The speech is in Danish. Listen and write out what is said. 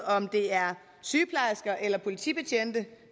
om det er sygeplejersker eller politibetjente